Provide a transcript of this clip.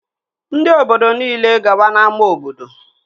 Ndị obodo nile gaba n'ámá obodo!